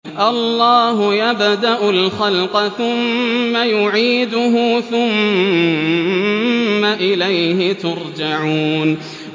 اللَّهُ يَبْدَأُ الْخَلْقَ ثُمَّ يُعِيدُهُ ثُمَّ إِلَيْهِ تُرْجَعُونَ